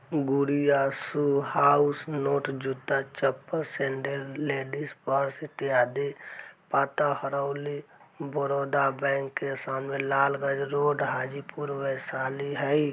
गुड़िया shoe house note जुत्ता चप्पल सेंडल लेडिज पर्स इत्यादि पता हरौली बड़ौदा बैंक के सामने लालगंज रोड हाजीपुर वैशाली हई।